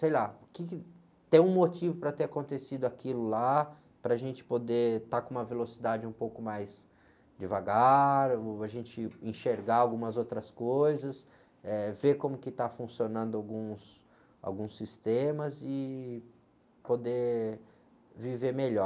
Sei lá, o quê que, tem um motivo para ter acontecido aquilo lá, para a gente poder estar com uma velocidade um pouco mais devagar, ou a gente enxergar algumas outras coisas, ver como está funcionando alguns, alguns sistemas e poder viver melhor.